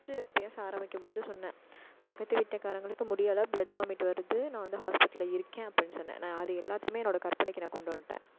first பேச ஆரம்பிக்கும் போது சொன்ன பக்கத்துக்கு வீட்டு காரங்களுக்கு முடியலை. blood vomit வருது. நான் வந்து, hospital ல இருக்கேன், அப்படின்னு சொன்னேன். நான், அது எல்லாத்தையுமே, என்னோட கற்பனைக்கு, நான் கொண்டு வந்துட்டேன்